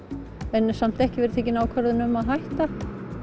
en ekki verið tekin ákvörðun um að hætta